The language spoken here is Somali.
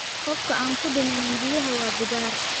Qofka aan ku dhiman biyaha waa bidaar